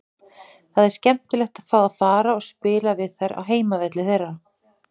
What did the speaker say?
Það er skemmtilegt að fá að fara og spila við þær á heimavelli þeirra.